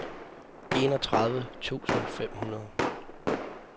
enogtredive tusind fem hundrede